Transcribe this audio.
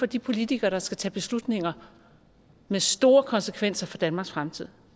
de politikere der skal tage beslutninger med store konsekvenser for danmarks fremtid